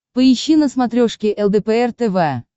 поищи на смотрешке лдпр тв